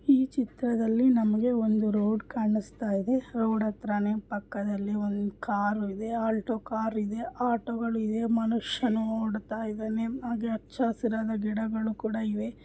ಈ ಚಿತ್ರದಲ್ಲಿ ನಮಗೆ ಒಂದು ರೋಡ್ ಕಾಣಿಸ್ತಾ ಇದೆ ರೋಡ್ ಹತ್ರನೇ ಪಕ್ಕದಲ್ಲಿ ಒಂದು ಕಾರ್ ಇದೆ ಆಲ್ಟೋ ಕಾರ್ ಇದೆ ಆಟೊಗಳು ಇದೆ ಮನುಷ್ಯನು ಓಡ್ತಾ ಇದ್ದಾನೆ ಹಾಗೆ ಹಚ್ಚ ಹಸಿರಾದ ಗಿಡಗಳೂ ಕೂಡ ಇವೆ.